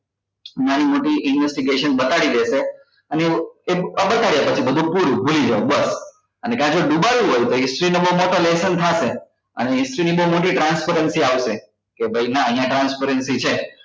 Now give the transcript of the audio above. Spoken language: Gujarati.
નાની મોટી investigation બતાડી દેશે અને એવું બતાડ્યા પછી બધું પૂરું ભૂલી જાઓ બસ અને કા જો ડુબાડવું હોય તો history નો બઉ મોટો lesson થશે અને history ની બઉ મોટી transparency આવશે કે ભાઈ ના અહીંયા transparency છે